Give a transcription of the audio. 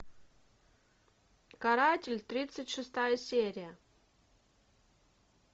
каратель тридцать шестая серия